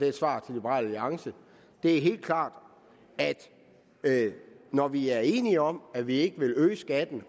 et svar til liberal alliance er helt klart at når vi er enige om at vi ikke vil øge skatten